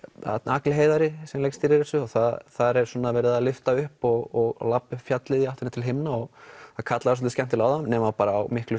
Agli Heiðari sem leikstýrði þessu þar er svona verið að lyfta upp og labba upp fjallið í áttina til himna og kallað svolítið skemmtilega á það nema bara á miklu